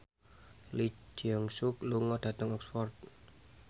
Lee Jeong Suk lunga dhateng Oxford